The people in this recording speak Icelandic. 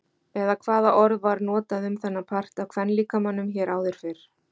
Eða hvaða orð var notað um þennan part af kvenlíkamanum hér áður fyrr?